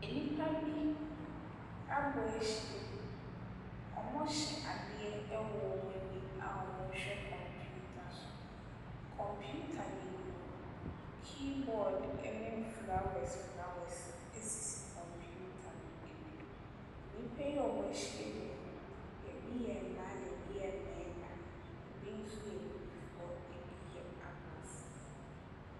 Nnipa bi abɔ ahyiam. Wɔhyɛ adeɛ wɔ wɔn ani a wɔrehwɛ computer so. Computer no anim no, keyboard ne flowers flowers sisi computer no anim. Nnipa a wɔahyiam yi, ebi yɛ mmaa na ebi yɛ mmarima. Ebi nso yɛ abibifoɔ, ebi yɛ aborɔfo.